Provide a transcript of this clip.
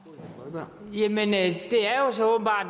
gøre med